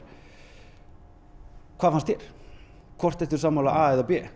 hvað finnst þér ertu sammála a eða b